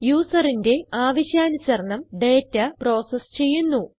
യൂസറിന്റെ ആവശ്യാനുസരണം data process ചെയ്യുന്നു